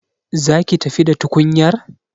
Za ki tafi da tukunyar?